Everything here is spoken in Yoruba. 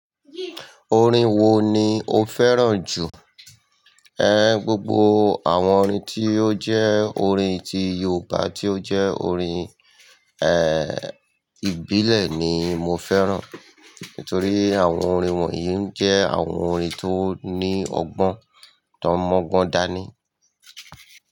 Orin wo ni o fẹ́ràn jù? Gbogbo àwọn orin tí ó jẹ́ orin ti Yorùbá tí ó jẹ́ orin ìbílẹ̀ ni mo fẹ́ràn. Nítorí àwọn orin wọ̀nyí jẹ́ àwọn orin tó ní ọgbọ́n, tó mọ́gbọ́n dáa ni.